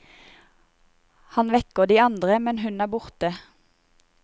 Han vekker de andre, men hun er borte.